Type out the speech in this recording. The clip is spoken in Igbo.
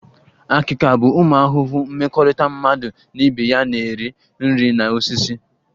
Akika bụ ụmụ ahụhụ mmekọrịta mmadụ na ibe ya na-eri nri na osisi